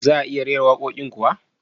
Zai iya rera waƙoƙin kuwa?